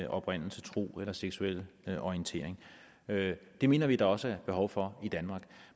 oprindelse tro eller seksuelle orientering det mener vi der også behov for i danmark